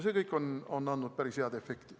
See kõik on andnud päris head efekti.